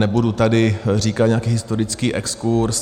Nebudu tady říkat nějaký historický exkurz.